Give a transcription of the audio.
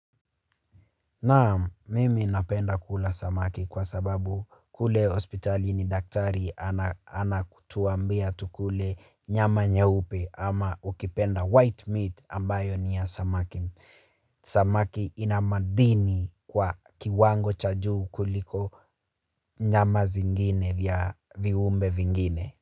Naam, mimi napenda kula samaki kwa sababu kule hospitalini daktari ana anakutuambia tukule nyama nyeupe ama ukipenda white meat ambayo niya samaki. Samaki ina madini kwa kiwango cha juu kuliko nyama zingine vya viumbe vingine.